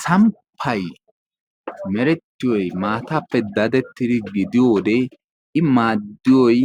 samppay merettiyoy maataappe daddetidi gidiyo wode, i maadiyoy